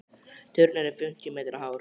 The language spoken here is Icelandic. Turninn er fimmtíu metra hár.